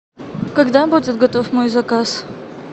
когда будет готов мой заказ